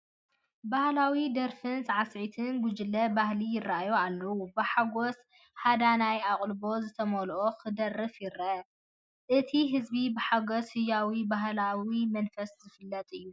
ባህላዊ ደርፍን ሳዕስዒትን ጉጅለ፡ባህሊ ይራኣዩ ኣለው፡፡ ብሓጎስ ሃዳናይ ኣቓልቦ ዝተመልአ ክደርፍ ይረአ። እቲ ህዝቢ ብሓጎስን ህያውን ባህላዊ መንፈሱ ዝፍለጥ እዩ።